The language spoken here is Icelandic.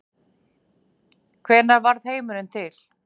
Hvenær varð heimurinn til?